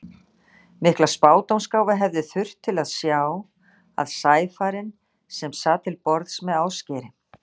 Mikla spádómsgáfu hefði þurft til að sjá, að sæfarinn, sem sat til borðs með Ásgeiri